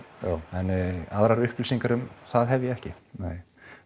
en aðrar upplýsingar um það hef ég ekki nei